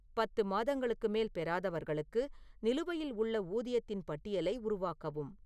பத்து மாதங்களுக்கு மேல் பெறாதவர்களுக்கு நிலுவையில் உள்ள ஊதியத்தின் பட்டியலை உருவாக்கவும்